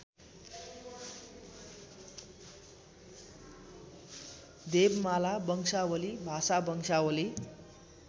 देवमाला वंशावली भाषावंशावली